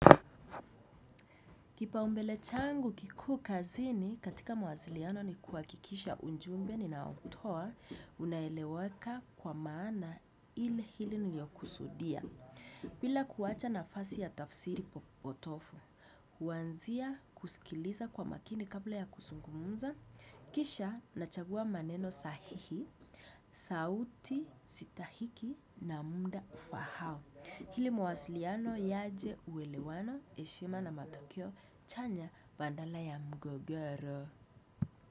Kipa umbele changu kikuu kazini katika mawasiliano ni kuwakikisha ujumbe ninao utoa unaeleweka kwa maana ili hili niliyokusudia. Bila kuwacha nafasi ya tafsiri potofu, huanzia kusikiliza kwa makini kabla ya kusungumumza, kisha nachagua maneno sahihi, sauti sitahiki na muda ufahao. Hili mawasiliano yaje uwelewano heshima na matukio chanya badala ya mgogoro.